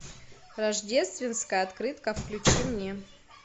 рождественская открытка включи мне